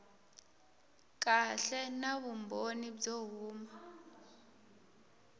kahle na vumbhoni byo huma